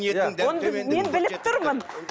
мен біліп тұрмын